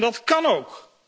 En dat kan ook.